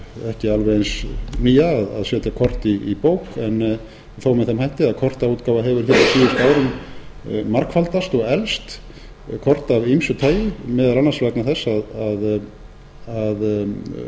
ekki alveg eins nýja að setja kort í bók en þó með þeim hætti að kortaútgáfa hefur hér á síðustu árum margfaldast og eflst kort af ýmsu tagi meðal